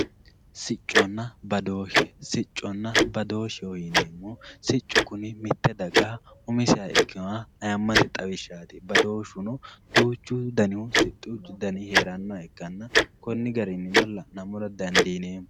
Sicconna badooshe, sicconna badoosheho yineemmohu siccu kuni mite dagara umiseha ikkinoha ayimmate xawishshati, badooshuno duuchu dani siccu heeranoha ikkanna koni garinino la'nammora dandiineemmo.